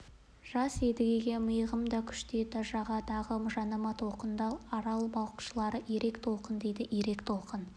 жас едіге мығым да күшті еді жағадағы жанама толқынды арал балықшылары ирек толқын дейді ирек толқын